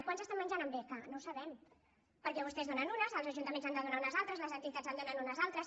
quants estan menjant amb beca no ho sabem perquè vostès en donen unes els ajuntaments n’han de donar unes altres les entitats en donen unes altres